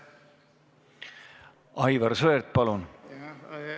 Aivar Sõerd, palun!